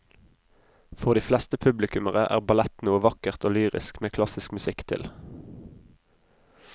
For de fleste publikummere er ballett noe vakkert og lyrisk med klassisk musikk til.